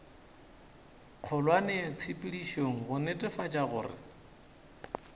kgolwane tshepedišong go netefatša gore